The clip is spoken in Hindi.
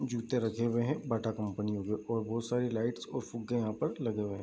जूते रखे हुए हैं बाटा कंपनी के जो और बहुत सारी लाइट और फुग्गे यहाँ पे लगे हुए हैं।